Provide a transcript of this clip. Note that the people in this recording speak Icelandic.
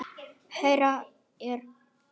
Hérna er eyrin.